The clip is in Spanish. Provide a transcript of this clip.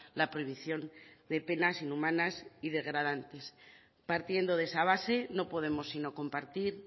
la prohibición de penas inhumanas y degradantes partiendo de esa base no podemos sino compartir